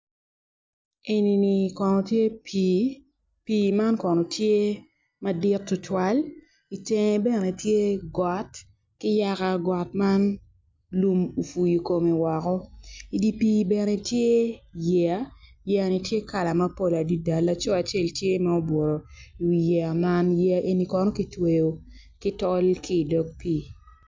Enini kono tye pii pii man kono tye madit tutwal itenge bene tye got ki yaka got man lum puyo kome woko idi pii bene tye yeya yeyani tye kala mapol adada laco acel tye ma obuto iwi yeya man yeya eni kono kitweyo ki tol ki idog pii.